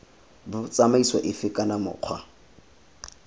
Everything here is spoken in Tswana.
b tsamaiso efe kana mokgwa